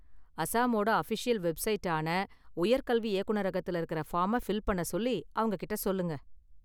அசாமோட official வெப்சைட்டான உயர்கல்வி இயக்குநரகத்துல இருக்குற ஃபார்மை ஃபில் பண்ண சொல்லி அவங்ககிட்ட சொல்லுங்க.